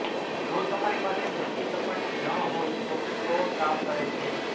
જો તમારી પાસે મોટી સપાટી ન હોય તો ફ્લોર કામ કરે છે